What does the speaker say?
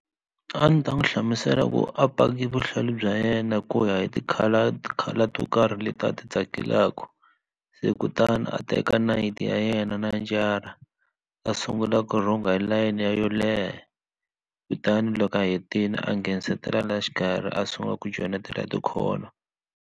A ndzi ta n'wi hlamusela ku a paki vuhlalu bya yena ku ya hi ti-color color to karhi leti a ti tsakelaku se kutani a teka nayiti ya yena na tinjara a sungula ku rhunga hi layeni yo leha kutani loko a hetile a nghenenisetela laha xikarhi a sungula ku joyinetela ti-corner.